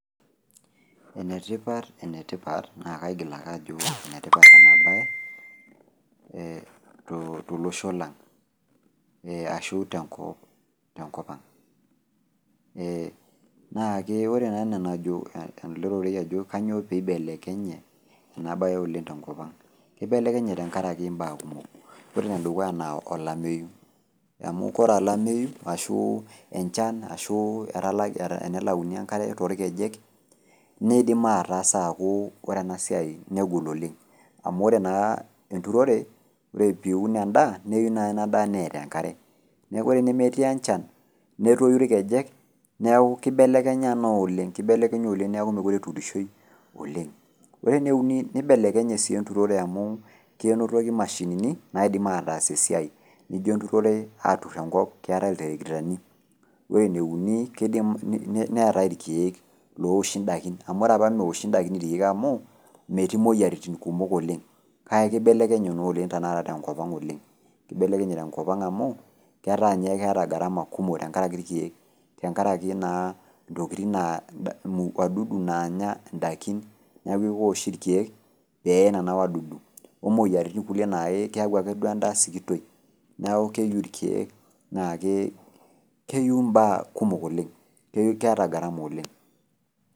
Enetipat enetipat naa kaigil ake ajo enetipat ena baye ee tolosho lang' ee ashu tenkopang' enaake. Ore naa anaa enajo ele rorei ajo kainyoo peeibelekenye inabaye oleng' tenkopang'. Keibelekenye tenkarake imbaa kumok ore nedukuya naa olameyu amu kore olameyu ashuu enchan ashuu etalaki enelauni enkare toolkejek neidim ataasa aakuu ore enasiai negol oleng', amu ore naa enturore ore piun endaa neyiu naa ina daa neeta enkare. Neaku ore enemetii enchan netoyu ilkejek neaku keibelekenya naaoleng, keibelekenya oleng' neaku mokore eturishoi oleng'. Ore neuni neibelekenye sii enturore amu kenotoki mashinini naidim ataas esiai nijo enturore aturr enkop keetai iltrakitani. Ore neuni keidim neetai ilkeek ooshi ndakin amu arapa meoshi ndakin ilkeek amu metiii moyaritin kumok oleng' kake keibelekenye naa oleng' tenakata tenkopang' oleng'. Keibelekenye tenkopang' amu ketaa ninye keeta gharama kumok tenkaraki ilkeek tengaraki naa intokitin naa  wadudu naanya ndakin neaku keoshi ilkeek peeye nena wadudu omuoyaritin kulie naa keaku ake duo endaa sikitoi neaku keyiu ilkeek naake keyou imbaa kumok oleng' keata gharama oleng'.